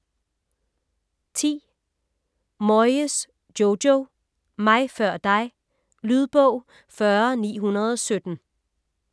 Moyes, Jojo: Mig før dig Lydbog 40917